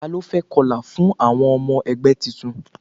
Ta ló fẹ́ kọlà fún àwọn ọmọ ẹgbẹ́ titun?